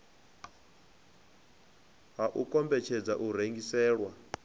ha u kombetshedzwa u rengiselwa